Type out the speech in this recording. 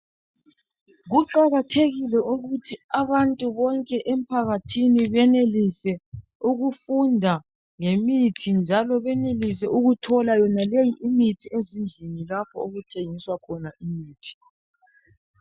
Kuqakathekile ukuthi abantu bonke emphakathini benelise ukufunda ngemithi njalo benelisa ukuthola yonaleyi imithi ezindlini lapho okuthengiswa khona imithi.